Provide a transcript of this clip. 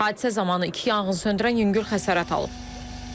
Hadisə zamanı iki yanğın söndürən yüngül xəsarət alıb.